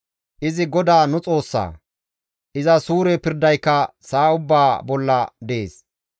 Izi GODAA nu Xoossaa; iza suure pirdayka sa7a ubbaa bolla dees.